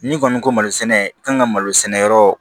N'i kɔni ko malo sɛnɛ i kan ka malo sɛnɛ yɔrɔ